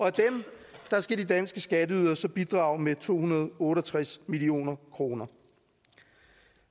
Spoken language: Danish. at dem skal de danske skatteydere så bidrage med to hundrede og otte og tres million kroner